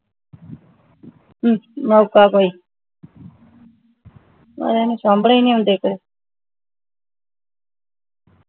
ਮੌਕਾ ਕੋਈ ਪਤਾ ਨਹੀਂ ਸਾਮਣੇ ਨਹੀਂ ਆਉਂਦੇ ਕੋਈ